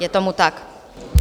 Je tomu tak.